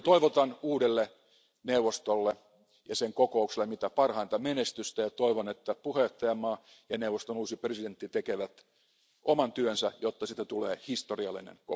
Toivotan uudelle neuvostolle ja sen kokoukselle mitä parhainta menestystä ja toivon, että puheenjohtajamaa ja neuvoston uusi puheenjohtaja tekevät oman työnsä, jotta kokouksesta tulee historiallinen.